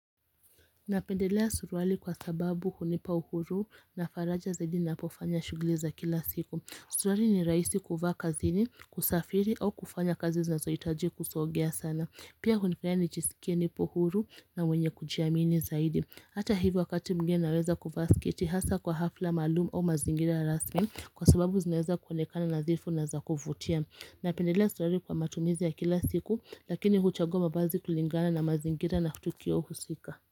Napendelea suruali kwa sababu hunipa uhuru na faraja zaidi napofanya shughuli za kila siku. Suruali ni rahisi kuvaa kazini, kusafiri au kufanya kazi zinazohitaji kusogea sana. Pia hunifanya nijisikie nipo huru na wenye kujiamini zaidi. Hata hivyo wakati mwingine naweza kuvaa sketi hasa kwa hafla maalumu au mazingira ya rasmi kwa sababu zinaweza kuonekana nadhifu na za kuvutia. Napendelea suruali kwa matumizi ya kila siku lakini huchagua mavazi kulingana na mazingira na tukio husika.